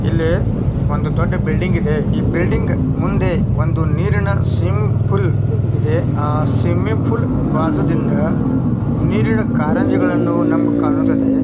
ಇಲ್ಲಿ ಒಂದು ದೊಡ್ಡ ಬಿಲ್ಡಿಂಗ್ ಇದೆ ಈ ಬಿಲ್ಡಿಂಗ್ ಮುಂದೆ ಒಂದು ದೊಡ್ಡ ನೀರಿನ ಸ್ವಿಮ್ಮಿಂಗ್ ಪೂಲ್ ಇದೆ. ಸ್ವಿಮ್ಮಿಂಗ್ ಪೂಲ್ ಬಾಜುದಿಂದ ಕಾರಂಜಿಗಳು ನಮಗೆ ಕಾಣುತ್ತದೆ.